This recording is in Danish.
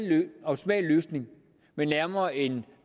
løsning men nærmere en